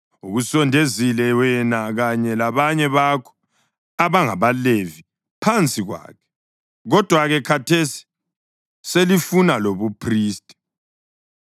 Ukusondezile wena kanye labanye bakho abangabaLevi phansi kwakhe, kodwa-ke khathesi selifuna lobuphristi.